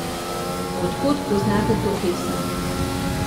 Od kod poznate to pesem?